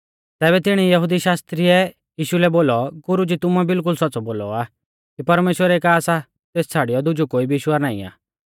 तैबै तिणी यहुदी शास्त्री ऐ यीशु लै बोलौ गुरुजी तुमुऐ बिल्कुल सौच़्च़ौ बोलौ आ कि परमेश्‍वर एका सा तेस छ़ाड़ियौ दुजौ कोई भी ईश्वर नाईं आ